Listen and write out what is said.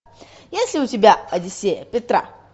есть ли у тебя одиссея петра